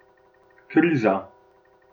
Kriza?